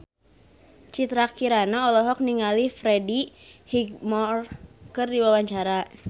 Citra Kirana olohok ningali Freddie Highmore keur diwawancara